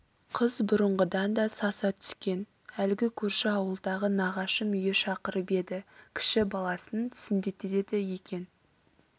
қыз бұрынғыдан да саса түскен әлгі көрші ауылдағы нағашым үйі шақырып еді кіші баласын сүндеттетеді екен